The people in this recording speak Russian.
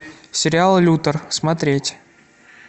сериал лютер смотреть